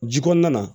Ji kɔnɔna na